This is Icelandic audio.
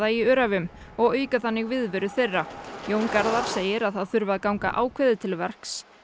í Öræfum og auka þannig viðveru þeirra Jón Garðar segir að það þurfi að ganga ákveðið til verks